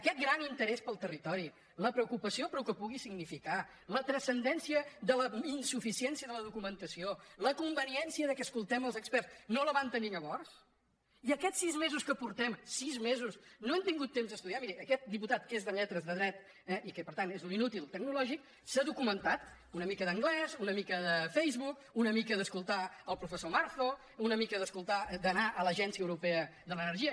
aquest gran interès pel territori la preocupació pel que pugui significar la transcendència de la insuficiència de la documentació la conveniència que escoltem els experts no la van tenir llavors i aquests sis mesos que portem sis mesos no han tingut temps d’estudiar miri aquest diputat que és de lletres de dret i que per tant és un inútil tecnològic s’ha documentat una mica d’anglès una mica de facebook una mica d’escoltar el professor marzo una mica d’anar a l’agència europea de l’energia